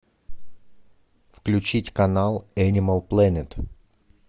включить канал энимал плэнет